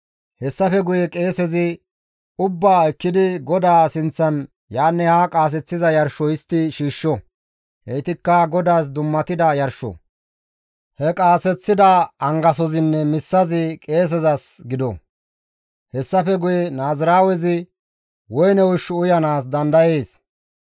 Hessafe guye qeesezi ubbaa ekkidi GODAA sinththan yaanne haa qaaseththiza yarsho histti shiishsho; heytikka GODAAS dummatida yarsho; he qaaseththida angasoynne missazi qeesezas gido; hessafe guye naaziraawezi woyne ushshu uyanaas dandayees.